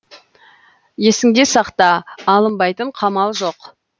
есіңде сақта алынбайтын қамал жоқ